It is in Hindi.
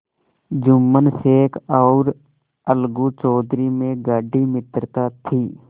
जुम्मन शेख और अलगू चौधरी में गाढ़ी मित्रता थी